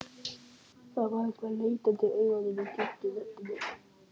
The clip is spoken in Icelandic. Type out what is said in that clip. Það var eitthvað leitandi í augunum, í djúpri röddinni.